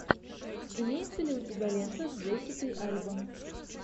имеется ли у тебя лента с джессикой альба